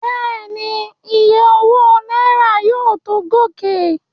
Bẹ́ẹ̀ni, Iye owó náírà yóò tó gòkè.